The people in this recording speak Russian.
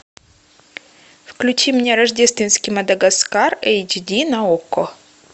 включи мне рождественский мадагаскар эйч ди на окко